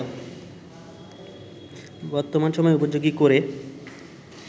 বর্তমান সময় উপযোগী করে